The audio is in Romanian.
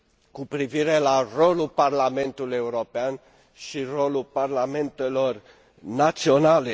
cu privire la rolul Parlamentului European și rolul parlamentelor naționale.